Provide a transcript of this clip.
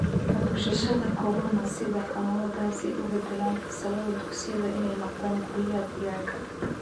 Hutushashada Corona Kenya: Sida xanuunadaasi u beddeleen fasallada dugsiyada inay noqdaan guryaha digaagga.